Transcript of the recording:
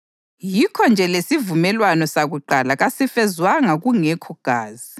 Yikho-nje lesivumelwano sakuqala kasifezwanga kungekho gazi.